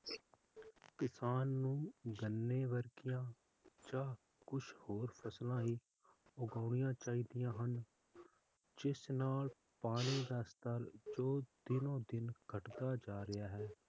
ਕਿਸਾਨ ਨੂੰ ਗੰਨੇ ਵਰਗੀਆਂ ਜਾ ਕੁਛ ਹੋਰ ਫਸਲਾਂ ਵੀ ਉਗਾਣੀਆਂ ਚਾਹੀਦੀਆਂ ਹਨ ਜਿਸ ਨਾਲ ਪਾਣੀ ਦਾ ਸਤਰ ਜੋ ਦਿਨੋ ਦਿਨ ਘਟਦਾ ਜਾ ਰਿਹਾ ਹੈ